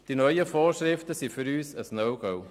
Die neuen Vorschriften sind für uns ein No-Go.